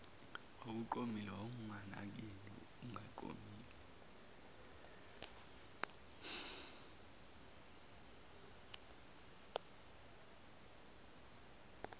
wawuqomile wawunginakeni ungaqomile